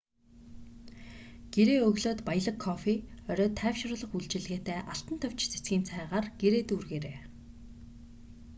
гэрээ өглөөд баялаг кофе оройд тайвшруулах үйлчилгээтэй алтан товч цэцгийн цайгаар гэрээ дүүргээрэй